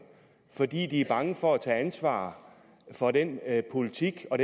fordi de er bange for at tage ansvar for den politik og